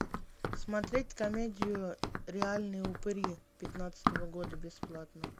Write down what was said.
смотреть комедию реальные упыри пятнадцатого года бесплатно